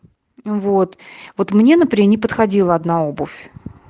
вот-вот мне не подходила одна обувь